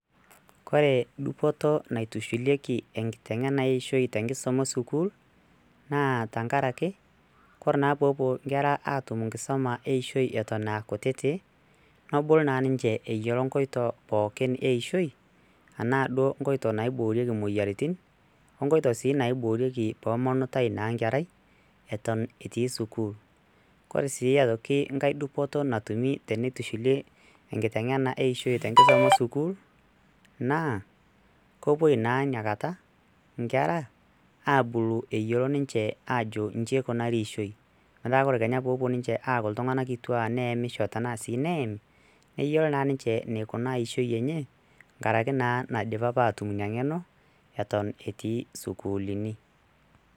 kore dupoto naitushulieki enkiteng'ena eishoi tenkisuma esukul naa tankarake kore naa poopuo inkera atum nkisuma eishoi eton aa kutitik nobulu naa ninche eyiolo nkoito pookin eishoi anaa nkoito naiboorieki moyiaritin onkoito sii naiboorieki pomonutai naa nkerai eton etii sukul kore sii aitoki nkae dupoto natumi tenitushulie enkiteng'ena eishoi tenkisma esukuul na kopuoi naa inakata nkera abulu eyiolo ninche ajo inji ikunari ishoi metaa kore kenya poopuo ninche aaku iltung'anak kituak neyemisho tenaa sii neyami neyiolo naa ninche neikunaa ishoi enye nkaraki naa naidipa apa atum ina ng'eno eton etii sukuulini.